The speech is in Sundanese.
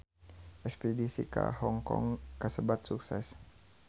Espedisi ka Hong Kong kasebat sukses